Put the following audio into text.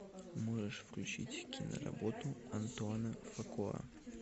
можешь включить киноработу антуана фукуа